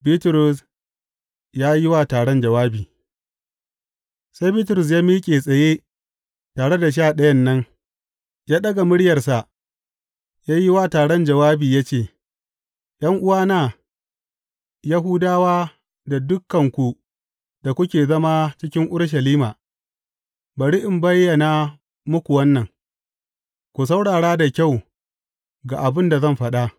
Bitrus ya yi wa taron jawabi Sai Bitrus ya miƙe tsaye tare da Sha Ɗayan nan, ya ɗaga muryarsa ya yi wa taron jawabi ya ce, ’Yan’uwana Yahudawa da dukanku da kuke zama cikin Urushalima, bari in bayyana muku wannan, ku saurara da kyau ga abin da zan faɗa.